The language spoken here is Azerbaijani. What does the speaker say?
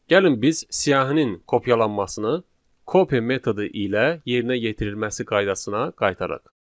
Gəlin biz siyahinin kopyalanmasını copy metodu ilə yerinə yetirilməsi qaydasına qaytaraq.